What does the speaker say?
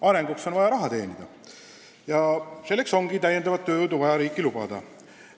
Arenguks on vaja raha teenida ja selleks ongi täiendavat tööjõudu vaja riiki lubada.